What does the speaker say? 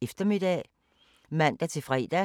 DR P4 Fælles